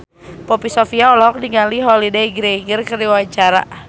Poppy Sovia olohok ningali Holliday Grainger keur diwawancara